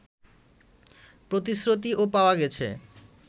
প্রতিশ্রুতিও পাওয়া গেছে